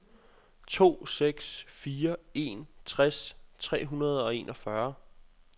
to seks fire en tres tre hundrede og enogfyrre